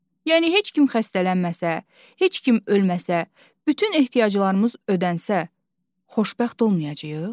Yəni heç kim xəstələnməsə, heç kim ölməsə, bütün ehtiyaclarımız ödənsə, xoşbəxt olmayacağıq?